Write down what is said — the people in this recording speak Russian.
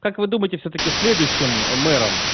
как вы думаете всё-таки следующем мером